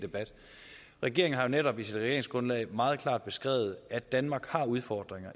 debat regeringen har netop i sit regeringsgrundlag meget klart beskrevet at danmark har udfordringer